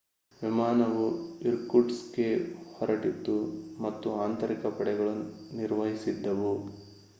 ವಿಮಾನವು ಇರ್ಕುಟ್‌ಸ್ಕ್‌ಗೆ ಹೊರಟಿತ್ತು ಮತ್ತು ಆಂತರಿಕ ಪಡೆಗಳು ನಿರ್ವಹಿಸುತ್ತಿದ್ದವು